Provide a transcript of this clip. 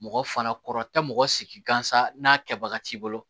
Mɔgɔ fana kɔrɔ tɛ mɔgɔ sigi gansan n'a kɛbaga t'i bolo